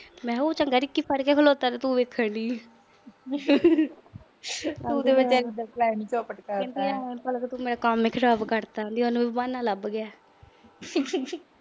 ਮੈਂ ਕਿਹਾ ਉਹ ਚੰਗਾ, ਰਿੱਕੀ ਫੜ ਕੇ ਖੜੋਤਾ ਤੇ ਤੂੰ ਚਲਾਉਣ ਡਈ ਆ। ਕਹਿੰਦੀ ਤੂੰ ਤਾਂ ਮੇਰਾ ਕੰਮ ਈ ਖਰਾਬ ਕਰਤਾ। ਉਹਨੂੰ ਵੀ ਬਹਾਨਾ ਲੱਭ ਗਿਆ।